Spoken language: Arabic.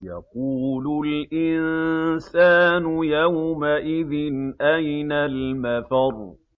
يَقُولُ الْإِنسَانُ يَوْمَئِذٍ أَيْنَ الْمَفَرُّ